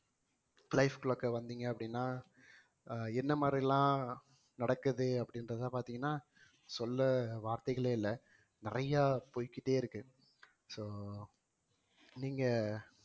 life clock ல வந்தீங்க அப்படின்னா ஆஹ் என்ன மாதிரி எல்லாம் நடக்குது அப்படின்றதை பார்த்தீங்கன்னா சொல்ல வார்த்தைகளே இல்லை நிறைய போய்க்கிட்டே இருக்கு so நீங்க